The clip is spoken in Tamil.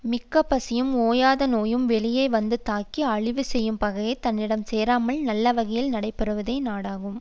மிக்க பசியும் ஓயாத நோயும் வெளியே வந்து தாக்கி அழிவு செய்யும் பகையும் தன்னிடம் சேராமல் நல்ல வகையில் நடைபெறுவதே நாடாகும்